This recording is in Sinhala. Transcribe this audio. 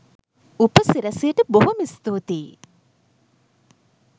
උපසිරැසියට බොහොම ස්තුතියි